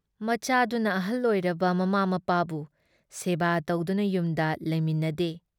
ꯃꯆꯥꯥꯗꯨꯅ ꯑꯍꯜ ꯑꯣꯏꯔꯕ ꯃꯃꯥ ꯃꯄꯥꯕꯨ ꯁꯦꯕꯥ ꯇꯧꯗꯨꯅ ꯌꯨꯝꯗ ꯂꯩꯃꯤꯟꯅꯗꯦ ꯫